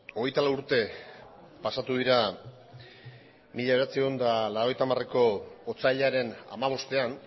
hogeita lau urte pasatu dira mila bederatziehun eta laurogeita hamareko otsailaren hamabostean